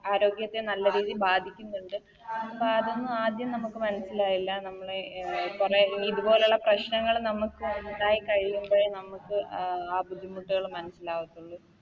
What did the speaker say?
ആരോഗ്യത്തിന് നല്ല രീതിയിൽ ബാധിക്ക്ന്ന്ണ്ട് അപ്പതൊന്നും ആദ്യം നമുക്ക് മനസ്സിലാവില്ല നമ്മള് അഹ് കൊറേ ഇതുപോലുള്ള പ്രശ്നങ്ങള് നമുക്ക് ഇണ്ടായി കഴിയുമ്പഴേ നമുക്ക് അഹ് ആ ബുദ്ധിമുട്ടുകള് മനസ്സിലാവത്തുള്ളു